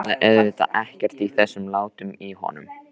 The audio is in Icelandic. Botnaði auðvitað ekkert í þessum látum í honum.